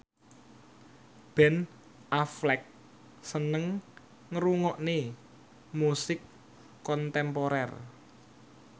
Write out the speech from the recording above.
Ben Affleck seneng ngrungokne musik kontemporer